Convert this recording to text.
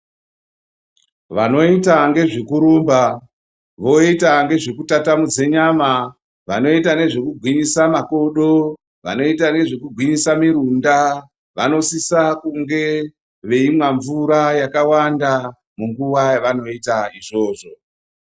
Vanoita ngezvekurumba, voita ngezvekutatamudze nyama, vanoita nezvekugwinyisa makodo, vanoita nezvekugwinyisa mirunda, vanosisa kunge veimwe mvura yakawanda munguwa yavanoite izvovzo.